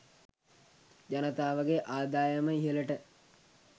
ජනතාවගේ ආදායම ඉහළට